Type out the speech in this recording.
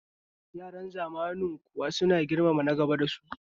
Yaran zamanin kuwa suna girmama nagaba dasu kuwa?